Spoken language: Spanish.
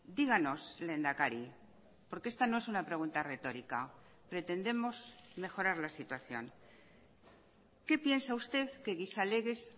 díganos lehendakari porque esta no es una pregunta retórica pretendemos mejorar la situación qué piensa usted que gizalegez